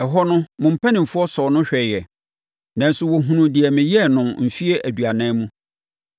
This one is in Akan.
Ɛhɔ no, mo mpanimfoɔ sɔɔ no hwɛeɛ, nanso wɔhunuu deɛ meyɛɛ no mfeɛ aduanan mu.